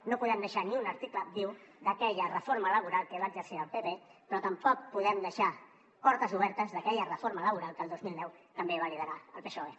no podem deixar ni un article viu d’aquella reforma laboral que va sorgir del pp però tampoc podem deixar portes obertes d’aquella reforma laboral que el dos mil deu també va liderar el psoe